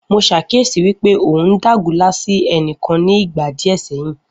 Mo ṣàkíyesi wípé ọ uhn dágunlá sí ẹnìkan ni ìgbà díè sẹyìn